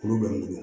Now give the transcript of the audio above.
Kuru bɛ n bolo